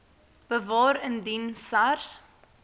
bewaar indien sars